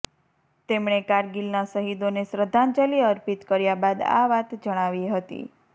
તેમણે કારગિલના શહીદોને શ્રદ્ધાંજલિ અર્પિત કર્યા બાદ આ વાત જણાવી હતી